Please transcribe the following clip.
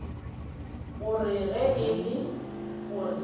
gore ge e le gore